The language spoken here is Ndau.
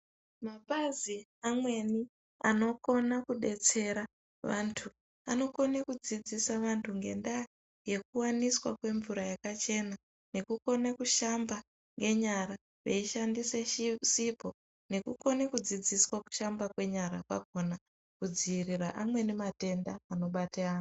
Mapazi amweni anokona kubetsera vantu, anokona kudzidzisa vantu ngendaa yekuwaniswa kwemvura yakachena nekukona kushamba nyara veishandise sipho nekukona kudzidziswa kushamba nyara kwakhona kudziirira amweni matenda anobate vantu.